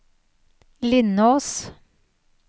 Lindås